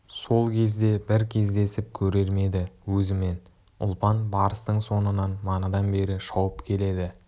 сол кезде бір кездесіп көрер ме еді өзімен ұлпан барыстың соңынан манадан бері шауып келеді